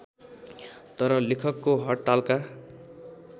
तर लेखकको हडतालका